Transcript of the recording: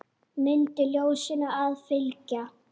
Mundu ljósinu að fylgja.